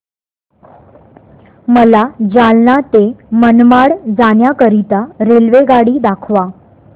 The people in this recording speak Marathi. मला जालना ते मनमाड जाण्याकरीता रेल्वेगाडी दाखवा